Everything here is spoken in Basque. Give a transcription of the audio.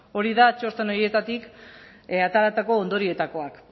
hori da txosten horietatik ateratako ondorioetakoa